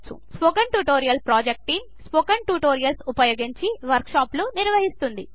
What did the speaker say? spoken tutorial project team spoken tutorials ఉపయోగించి workshops నిర్వహిస్తుంది